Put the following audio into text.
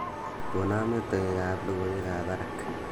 gonon metoek ab logoiwek ab barak